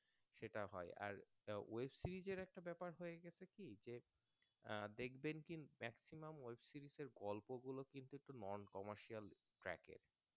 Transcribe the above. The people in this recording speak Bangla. সেটা হয় আর Web series এর একটা ব্যাপার হয়েগেছে কি যে আহ দেখবেন কি একটি নাম web series এর গল্পগুলো কিন্তু একটু Non-commercial track এর আরকি খুব একটা commercial track এর